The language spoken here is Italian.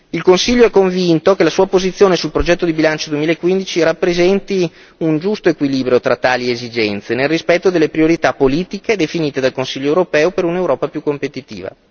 Il Consiglio è convinto che la sua posizione sul progetto di bilancio 2015 rappresenti un giusto equilibrio tra tali esigenze nel rispetto delle priorità politiche definite dal Consiglio europeo per un'Europa più competitiva.